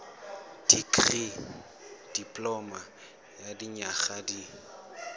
dikirii dipoloma ya dinyaga di